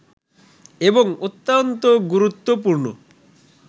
এবং অত্যন্ত গুরুত্বপূর্ণ